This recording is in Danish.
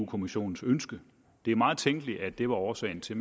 kommissionens ønske det er meget tænkeligt at det var årsagen til